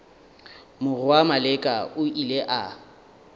morwa maleka o ile a